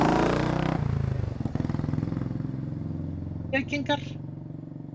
eru óbeinar reykingar jafn hættulegar og beinar reykingar